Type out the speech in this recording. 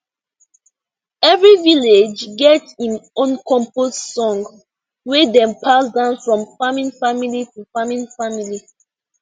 every village get im own compost song wey dem pass down from farming family to farming family